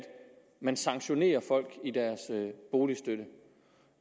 man sanktionerer folk i deres boligstøtte